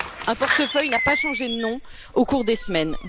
Un portefeuille n'a pas changé de nom au cours des semaines.